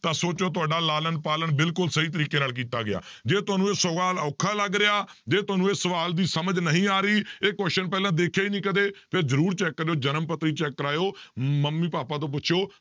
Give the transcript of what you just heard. ਤਾਂ ਸੋਚਿਓ ਤੁਹਾਡਾ ਲਾਲਣ ਪਾਲਣ ਬਿਲਕੁਲ ਸਹੀ ਤਰੀਕੇ ਨਾਲ ਕੀਤਾ ਗਿਆ, ਜੇ ਤੁਹਾਨੂੰ ਇਹ ਸਵਾਲ ਔਖਾ ਲੱਗ ਰਿਹਾ ਜੇ ਤੁਹਾਨੂੰ ਇਹ ਸਵਾਲ ਦੀ ਸਮਝ ਨਹੀਂ ਆ ਰਹੀ ਇਹ question ਪਹਿਲਾਂ ਦੇਖਿਆ ਹੀ ਨੀ ਕਦੇ, ਫਿਰ ਜ਼ਰੂਰ check ਕਰਿਓ ਜਨਮ ਪੱਤਰੀ check ਕਰਵਾਇਓ ਮੰਮੀ ਪਾਪਾ ਤੋਂ ਪੁੱਛਿਓ